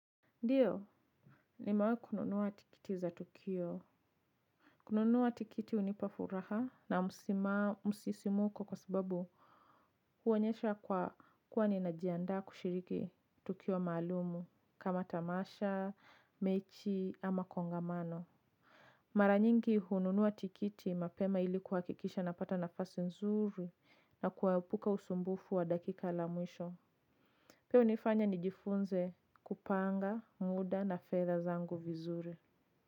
Ndiyo, nimewahikununua tikiti za tukio. Kununua tikiti hunipa furaha na msisimuko kwa sababu huonyesha kwa kuwa ninajiandaa kushiriki tukio maalumu kama tamasha, mechi ama kongamano. Mara nyingi hununua tikiti mapema ilikuhakikisha napata nafasi nzuri na kuhepuka usumbufu wa dakika la mwisho. Pia hunifanya nijifunze kupanga muda na fedha zangu vizuri.